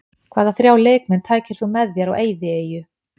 Hvaða þrjá leikmenn tækir þú með þér á eyðieyju?